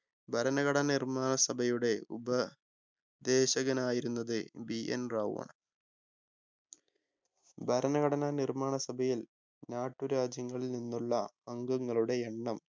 ഭരണഘടനാ നിർമ്മാണ സഭയുടെ ഉപ ദേശകനായിരുന്നത് BN റാവു ആണ് ഭരണഘടനാ നിർമ്മാണ സഭയിൽ നാട്ടുരാജ്യങ്ങളിൽ നിന്നുള്ള അംഗങ്ങളുടെ എണ്ണം